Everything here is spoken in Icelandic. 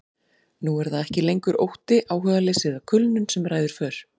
Nú er það ekki lengur ótti, áhugaleysi eða kulnun sem ræður för.